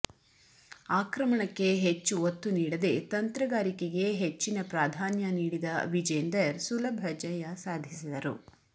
ಆಕ್ರಮಣಕ್ಕೆ ಹೆಚ್ಚು ಒತ್ತು ನೀಡದೆ ತಂತ್ರಗಾರಿಕೆಗೆ ಹೆಚ್ಚಿನ ಪ್ರಾಧಾನ್ಯ ನೀಡಿದ ವಿಜೇಂದರ್ ಸುಲಭ ಜಯ ಸಾಧಿಸಿದರು